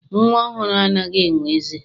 Nnwa ọhụrụ anaghị enwe eze.